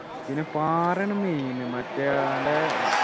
പിന്നെ പാറയാണ് main മറ്റേ ആളുടെ